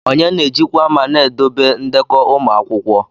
Onye na-ejikwa ma na-edobe ndekọ ụmụ akwụkwọ?